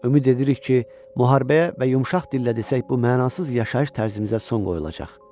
Ümid edirik ki, müharibəyə və yumşaq dillə desək, bu mənasız yaşayış tərzimizə son qoyulacaq.